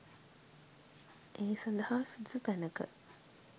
ඒ සඳහා සුදුසු තැනක